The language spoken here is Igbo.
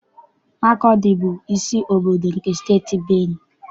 Makọdị bụ isi obodo nke Steeti Benue.